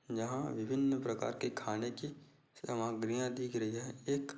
यहाँ विभिन्न प्रकार के खाने की सामग्रियाँ दिख रही है एक--